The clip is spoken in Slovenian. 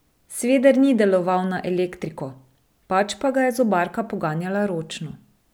Sveder ni deloval na elektriko, pač pa ga je zobarka poganjala ročno.